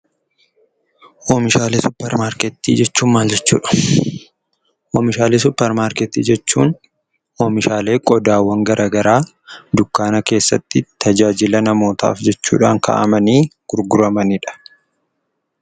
Oomishaalee suuparmarkeettii jechuun maal jechuudha? Oomishaalee suuparmarkeetti jechuun oomishaalee qodaawwan gara garaa dukkaana keessatti tajaajila namootaf jechuudhaan kaa'amanii gurguramanidha.